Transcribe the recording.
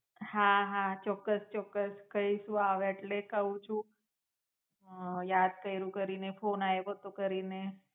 હાં હાં ચોકકસ ચોકકસ કઇશ હું આવે એટલે ક્વ છું. હમ યાદ કઈરું કરીને ફોન આઈવો તો કરીને